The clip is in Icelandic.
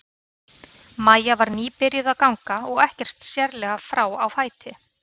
Maja var nýbyrjuð að ganga og ekkert sérlega frá á fæti.